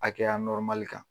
A kɛra kan.